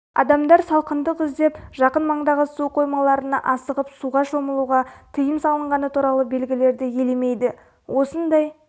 адамдар салқындық іздеп жақын маңдағы су қоймаларына асығып суға шомылуға тыйым салынғаны туралы белгілерді елемейді осындай